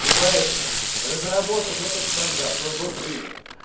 и поэтому разработав этот стандарт он был принят